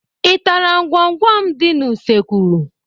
Ị tara ngwọngwọ m dị n'usekwu?